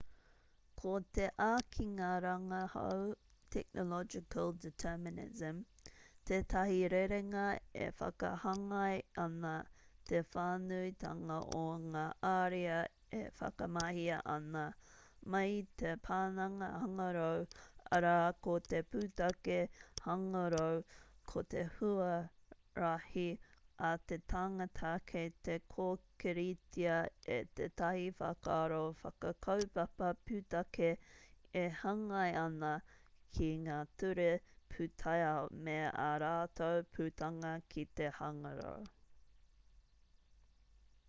ko te ākinga rangahau technological determinism tētahi rerenga e whakahāngai ana te whānuitanga o ngā ariā e whakamahia ana mai i te pananga-hangarau arā ko te pūtake hāngarau ko te huarahi a te tangata kei te kōkiritia e tētahi whakaaro whakakaupapa pūtake e hāngai ana ki ngā ture pūtaiao me ā rātou putanga ki te hangarau